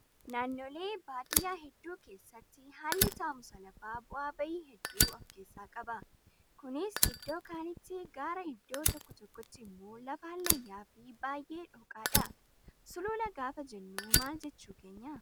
Naannolee baadiyyaa hedduu keessatti haalli taa'umsa lafaa bu'aa bahii hedduu of keessaa qaba. Kunis iddoo kaanitti gaara iddoo tokko tokkotti immoo lafa hallayyaa fi baay'ee dhooqadha. Sulula gaafa jennu maal jechuu keenyaa?